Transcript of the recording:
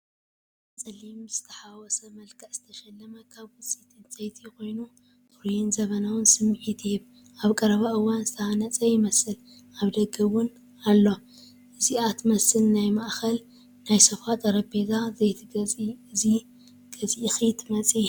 ጻዕዳን ጸሊምን ብዝተሓዋወሰ መልክዕ ዝተሸለመ ካብ ውፅኢት ዕንጨይቲ ኮይኑ፡ ጽሩይን ዘመናውን ስምዒት ይህብ። ኣብ ቀረባ እዋን ዝተሃንጸ ይመስል፡ ኣብ ደገ ደው ኢሉ። ...ነዚኣ ትመስል ናይ ማእኸል/ናይ ሶፋ ጠረጰዛ ዘይትገዝኢ እዚ ገዚእኺ ትመፂ....